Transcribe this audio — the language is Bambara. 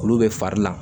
Olu bɛ fari la